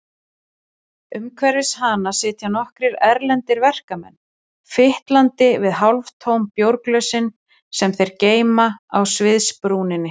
Umhverfis hana sitja nokkrir erlendir verkamenn, fitlandi við hálftóm bjórglösin sem þeir geyma á sviðsbrúninni.